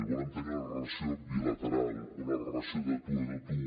volem tenir una relació bilateral una relació de tu a tu